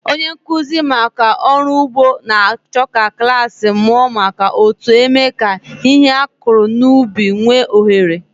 Onye nkụzi maka ọrụ ugbo na-achọ ka klas mụọ maka otu eme ka ihe a kụrụ n'ubi nwee ohere.